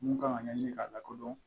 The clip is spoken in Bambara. Mun kan ka ɲɛɲini k'a lakodɔn